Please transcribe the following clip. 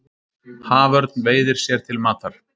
Haförn veiðir sér til matar.